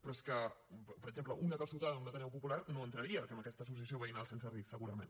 però és que per exemple una calçotada en un ateneu popular no entraria en aquesta associació veïnal sense risc segurament